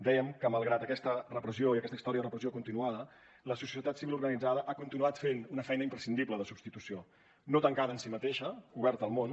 dèiem que malgrat aquesta repressió i aquesta història de repressió continuada la societat civil organitzada ha continuat fent una feina imprescindible de substitució no tancada en si mateixa oberta al món